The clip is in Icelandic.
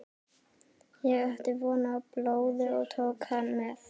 Ég átti von á blóði og tók hann með.